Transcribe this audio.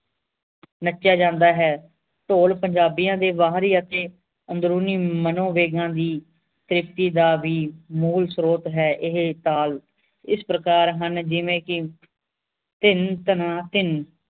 ਨੱਚਿਆ ਜਾਂਦਾ ਹੈ ਢੋਲ ਪੰਜਾਬੀਆਂ ਦੇ ਬਾਹਰੀ ਅਤੇ ਅੰਦਰੂਨੀ ਮਨੋਵੇਗਾਂ ਦੀ ਭੇਤੀ ਦਾ ਵੀ ਮੂਲ ਸਤ੍ਰੋਤ ਹੈ ਇਹ ਤਾਲ ਇਸ ਪ੍ਰਕਾਰ ਹਨ ਜਿਵੇਂ ਕਿ ਧਿਨ ਧਨਾ ਧਿਨ